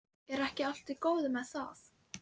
Er ekki allt í góðu lagi með það?